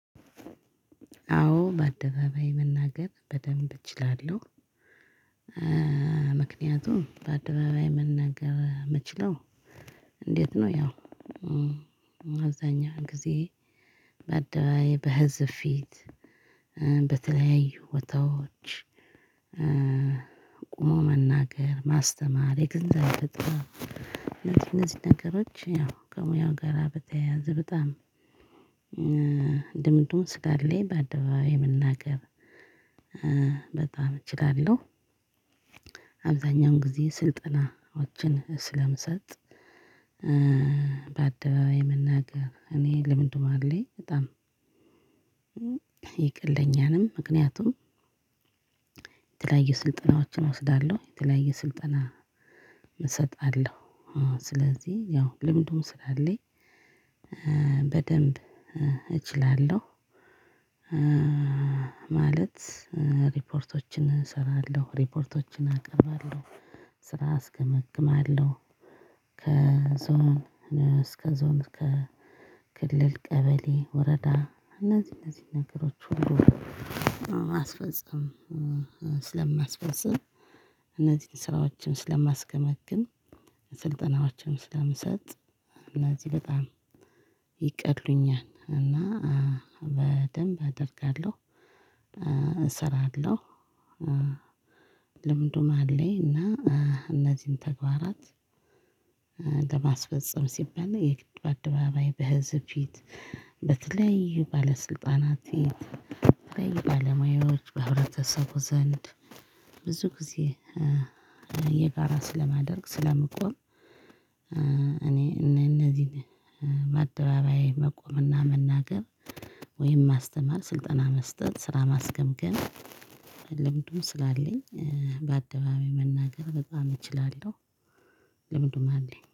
አዎ በአደባባይ መናገር በደንብ እችላለሁ። ምክንያቱም በአደባባይ መናገር ምችለው? እንዴት ነው ያው አብዛኛውን ጊዜ በአደባይ በህዝብ ፊት በተለያዩ ቦታዎች ቆሞ መናገር ማስተማር የገንዘብ አይፈጥርም። እነዚህ እነዚህ ነገሮች ያው ከሙያው ጋራ በተያያዘ በጣም ልምዱም ስላለኝ በአደባባይ መናገር በጣም እችላለሁ። አብዛኛውን ጊዜ ስልጠናዎችን ስለምሰጥ በአደባባይ መናገር እኔ ልምዱ አለኝ በጣም ይቀለኛልም። ምክንያቱም የተለያዩ ስልጠናዎችን እወስዳለሁ የተለያዩ ስልጠና እሰጣለሁ። ስለዚህ ያው ልምዱም ስላለኝ በደንብ እችላለሁ። ማለት ሪፖርቶችን እሰራለሁ ሪፖርቶችን አቀርባለሁ ስራ አስገመግማለሁ። ከዞን እስከ ዞን ከክልል ቀበሌ ወረዳ እነዚህ እነዚህ ነገሮች ሁሉ ማስፈጸም ስለማስፈፅም እነዚህን ስራዎችን ስለማስገመግም ስልጠናዎችን ስለምሰጥ እና እዚህ በጣም ይቀሉኛል። እና በደንብ አደርጋለሁ እሰራለሁ። ልምዱም አለኝ እና እነዚህን ተግባራት። ለማስፈፀም ሲባል የግድ በአደባባይ በህዝብ ፊት በተለያዩ ባለስልጣናት ፊት በተለያዩ ባለሙያዎች በህብረተሰቡ ዘንድ ብዙ ጊዜ የጋራ ስለማደርግ ስለምቆም እኔ እነዚህን በአደባባይ መቆምና መናገር ወይም ማስተማር ስልጠና መስጠት ስራ ማስገምገም ልምዱም ስላለኝ በአደባባይ መናገር በጣም እችላለሁ። ልምዱም አለኝ